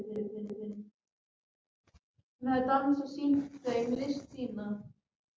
Marsibil, hvað er jörðin stór?